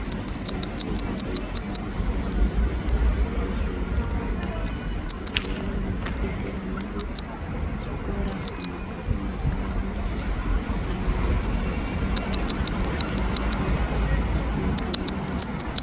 Vantu vanohamba eifundisa antu ngezveutano mungave muri muzvibhehlera mwedu, muzvikora kana mukati mwe nharaunda kana munzvimbo dzinoungana anhu akawanda wanda muzvibhorani.